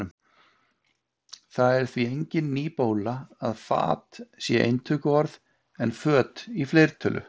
Það er því engin ný bóla að fat sé eintöluorð, en föt í fleirtölu.